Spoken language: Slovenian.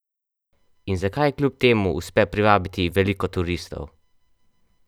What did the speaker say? In zakaj ji kljub temu uspe privabiti veliko turistov?